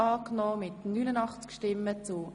Der Grosse Rat beschliesst: